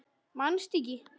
Manstu ekki?